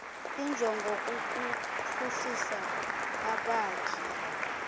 injongo kukuphuhlisa abakhi